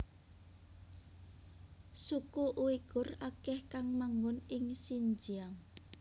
Suku Uighur akeh kang manggon ing Xinjiang